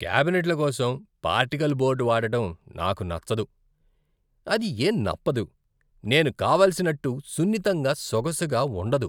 క్యాబినెట్ల కోసం particle board వాడడం నాకు నచ్చదు. అది ఏం నప్పదు, నేను కావలసిన్నట్టు సున్నితంగా, సొగసుగా ఉండదు.